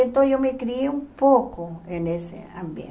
Então, eu me criei um pouco nesse ambiente.